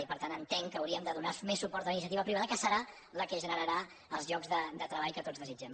i per tant entenc que hauríem de donar més suport a la iniciati·va privada que serà la que generarà els llocs de treball que tots desitgem